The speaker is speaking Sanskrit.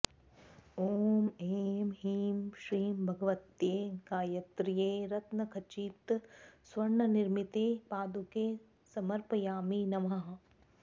ॐ ऐं ह्रीं श्रीं भगवत्यै गायत्र्यै रत्नखचितस्वर्णनिर्मिते पादुके समर्पयामि नमः